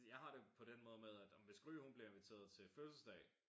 Jeg har det på den måde med at ej men hvis Gry hun bliver inviteret til fødselsdag